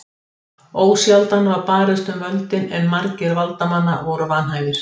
Ósjaldan var barist um völdin en margir valdamanna voru vanhæfir.